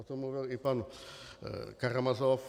O tom mluvil i pan Karamazov.